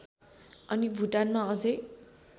अनि भुटानमा अझै